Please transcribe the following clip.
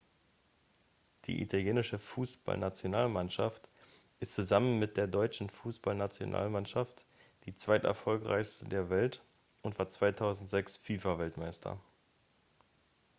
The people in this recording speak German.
die italienische fußballnationalmannschaft ist zusammen mit der deutschen fußballnationalmannschaft die zweiterfolgreichste der welt und war 2006 fifa-weltmeister